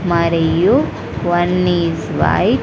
మరియు one is white--